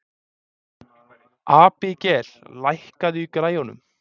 Abigael, lækkaðu í græjunum.